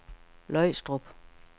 Løgstrup